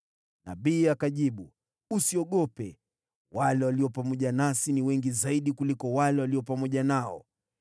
Nabii akajibu, “Usiogope. Wale walio pamoja nasi ni wengi zaidi kuliko wale walio pamoja nao.”